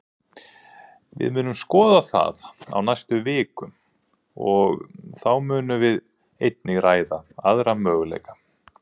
Við munum skoða það á næstu vikum, og þá munum við einnig ræða aðra möguleika.